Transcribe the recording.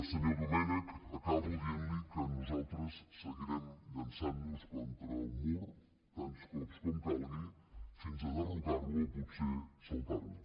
senyor domènech acabo dient li que nosaltres seguirem llançant nos contra el mur tants cops com calgui fins a derrocar lo o potser saltar lo